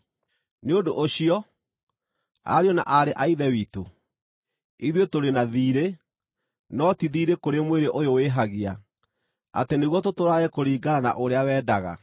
Nĩ ũndũ ũcio, ariũ na aarĩ a Ithe witũ, ithuĩ tũrĩ na thiirĩ, no ti thiirĩ kũrĩ mwĩrĩ ũyũ wĩhagia, atĩ nĩguo tũtũũrage kũringana na ũrĩa wendaga.